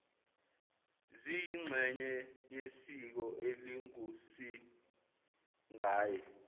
ziyingxenye yesiko elingusingaye